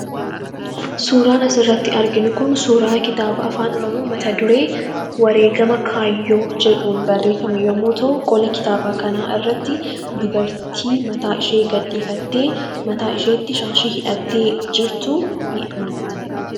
Suuraan asirratti arginu Kun suura kitaaba afaan Oromoo mata dureen isaa wareegama kaayyoo jedhuun barreeffame yemmuu ta'u qola kitaaba kana irratti dubartii mataa gadi gadhiifattee mataa ishiitti shaashii hidhattee jirtuutu mul'ata.